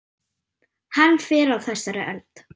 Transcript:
Hann fer á þessari öld.